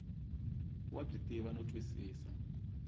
wa byi tiva no twisisa